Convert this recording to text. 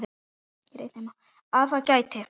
Að það gæti.